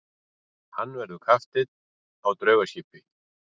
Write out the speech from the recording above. Hann verður kapteinn á draugaskipi.